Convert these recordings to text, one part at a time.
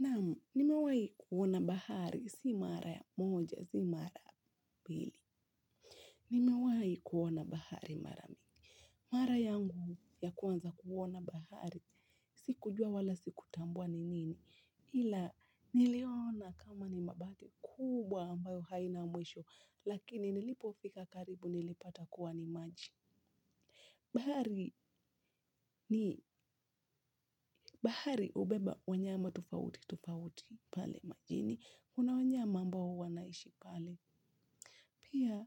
Naam, nimewai kuona bahari, si mara ya moja, si mara pili. Nimewai kuona bahari mara mi. Mara yangu ya kwanza kuona bahari, sikujua wala sikutambua ni nini. Hila, niliona kama ni mabati kubwa ambayo haina mwisho, lakini nilipofika karibu nilipata kuwa ni maji. Bahari ni bahari ubeba, wanyama tofauti, tofauti pale majini. Kuna wanyama ambao wanaishi pale. Pia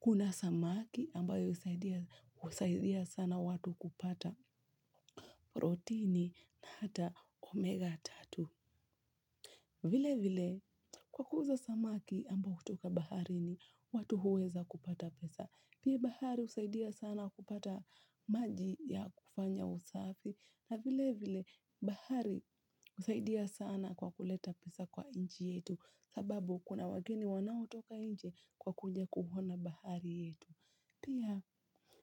kuna samaki ambayo husaidia sana watu kupata protini na hata omega tatu. Vile vile kwa kuuza samaki ambao hutoka baharini watu huweza kupata pesa. Pia bahari husaidia sana kupata maji ya kufanya usafi. Na vilevile bahari husaidia sana kwa kuleta pesa kwa inchi yetu sababu kuna wageni wanaotoka inje kwa kuja kuhona bahari yetu. Pia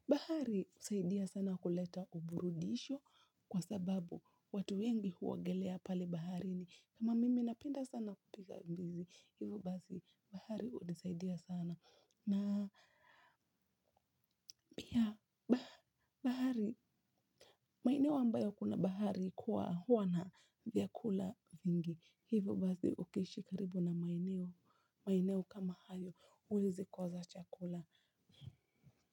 bahari usaidia sana kuleta uburudisho kwa sababu watu wengi huogelea pale baharini kama mimi napenda sana kupiga mbizi. Hivo basi bahari unisaidia sana na pia bahari maeneo ambayo kuna bahari kuwa huwa na vyakula vingi. Hivo basi ukiishi karibu na maeneo maeneo kama hayo huwezi koza chakula.